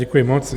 Děkuji moc.